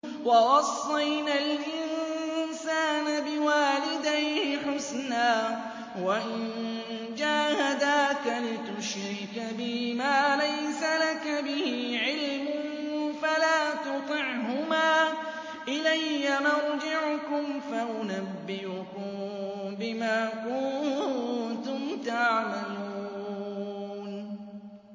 وَوَصَّيْنَا الْإِنسَانَ بِوَالِدَيْهِ حُسْنًا ۖ وَإِن جَاهَدَاكَ لِتُشْرِكَ بِي مَا لَيْسَ لَكَ بِهِ عِلْمٌ فَلَا تُطِعْهُمَا ۚ إِلَيَّ مَرْجِعُكُمْ فَأُنَبِّئُكُم بِمَا كُنتُمْ تَعْمَلُونَ